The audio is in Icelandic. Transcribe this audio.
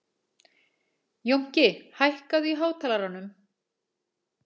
Jónki, hækkaðu í hátalaranum.